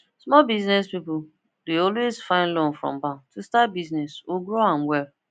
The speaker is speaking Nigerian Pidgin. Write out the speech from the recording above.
small biz people dey always find loan from bank to start business or grow am well